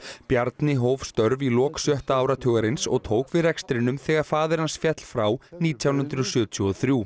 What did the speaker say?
Bjarni hóf störf í lok sjötta áratugarins og tók við rekstrinum þegar faðir hans féll frá nítján hundruð sjötíu og þrjú